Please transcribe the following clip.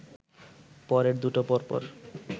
পরের দুটো পরপর